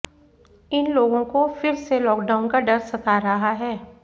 इन लोगों को फिर से लॉकडाउन का डर सता रहा है